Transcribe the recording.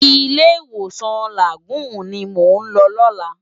Ilé Iwósan Lágúùn ni mó lò làná